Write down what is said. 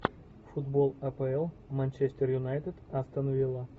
футбол апл манчестер юнайтед астон вилла